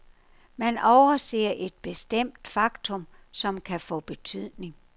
Man overser et bestemt faktum, som kan få betydning.